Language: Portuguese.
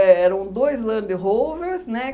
eram dois Land Rovers, né?